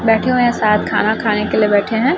बैठे हुए हैं साथ खाना खाने के लिए बैठे हैं।